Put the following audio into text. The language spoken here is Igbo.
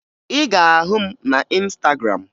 Ị ga-ahụ m na Ịnstagram